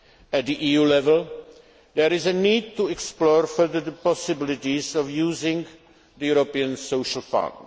At EU level, there is a need to explore further the possibilities of using the European Social